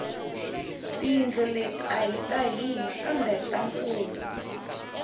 tiyindlo let ahi ta hina kambe ta mfumo